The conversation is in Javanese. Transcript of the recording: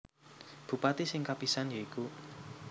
Bupati sing kapisan ya iku